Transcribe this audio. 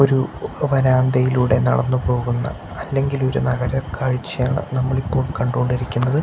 ഒരു വരാന്തയിലൂടെ നടന്നു പോകുന്ന അല്ലെങ്കിൽ ഒരു നഗരക്കാഴ്ചയാണ് നമ്മൾ ഇപ്പോൾ കണ്ടുകൊണ്ടിരിക്കുന്നത്.